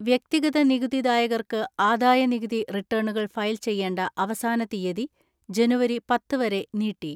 വ്യക്തിഗത നികുതി ദായകർക്ക് ആദായനികുതി റിട്ടേണുകൾ ഫയൽ ചെയ്യേണ്ട അവസാന തീയതി ജനുവരി പത്ത് വരെ നീട്ടി.